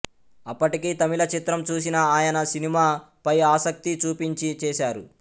అప్పటికీ తమిళ చిత్రం చూసిన ఆయన సినిమా పై ఆసక్తి చూపించి చేశారు